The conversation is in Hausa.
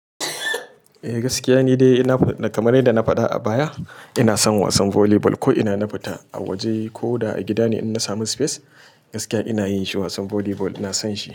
Eh gaskiya ni dai kamar dai na faɗa a baya ina son wasan volleyball ko ina na fita a waje ko da a gida ne in na samu space gaskiya ina yin shi wasan volleyball ina son shi.